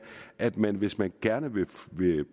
at man hvis man gerne vil